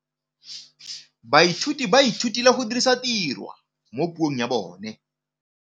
Baithuti ba rutilwe go dirisa tirwa mo puong ya bone.